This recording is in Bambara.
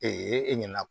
e ɲɛna